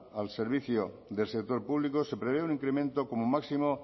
al servicio del sector público se prevé un incremento como máximo